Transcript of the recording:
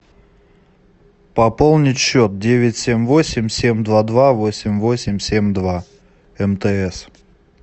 пополнить счет девять семь восемь семь два два восемь восемь семь два мтс